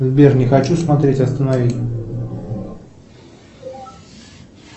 сбер не хочу смотреть останови